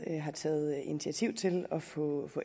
har taget initiativ til at få